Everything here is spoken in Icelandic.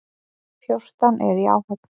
Fjórtán eru í áhöfn.